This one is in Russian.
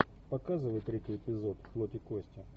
показывай третий эпизод плоть и кости